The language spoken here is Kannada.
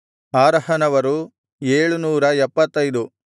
ಆರಹನವರು 775